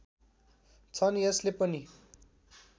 छन् यसले पनि